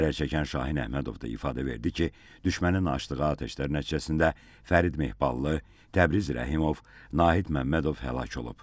Zərərçəkən Şahin Əhmədov da ifadə verdi ki, düşmənin açdığı atəşlər nəticəsində Fərid Mehballı, Təbriz Rəhimov, Nahid Məmmədov həlak olub.